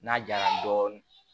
N'a jara dɔɔnin